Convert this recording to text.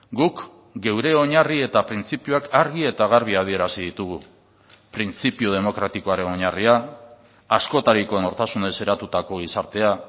guk geure oinarri eta printzipioak argi eta garbi adierazi ditugu printzipio demokratikoaren oinarria askotariko nortasunez eratutako gizartea